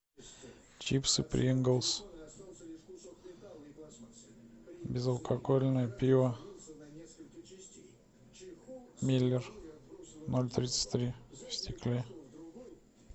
чипсы принглс безалкогольное пиво миллер ноль тридцать три в стекле